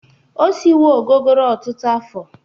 O siwo ogogoro ụtụtụ afọ.